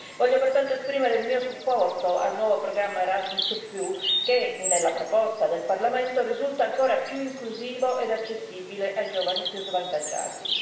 Voglio pertanto esprimere il mio supporto al nuovo programma Erasmus che, nella proposta del Parlamento, risulta ancora più inclusivo ed accessibile ai giovani più svantaggiati.